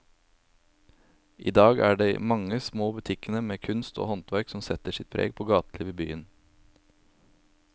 I dag er det de mange små butikkene med kunst og håndverk som setter sitt preg på gatelivet i byen.